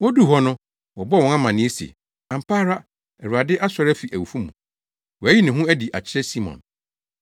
Woduu hɔ no, wɔbɔɔ wɔn amanneɛ se, “Ampa ara, Awurade asɔre afi awufo mu. Wayi ne ho adi akyerɛ Simon.”